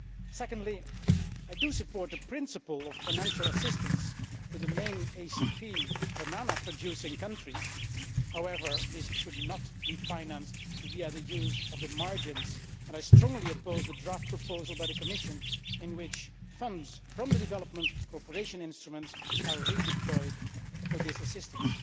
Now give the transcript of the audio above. Secondly, I support the principle of financial assistance to the main ACP banana producing countries. However, this should not be financed via the margins, and I strongly oppose the draft proposal by the Commission in which funds from the development cooperation instruments are redeployed for this assistance.